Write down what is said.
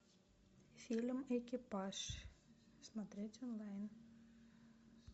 фильм экипаж смотреть онлайн